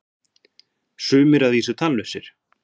sumir að vísu tannlausir!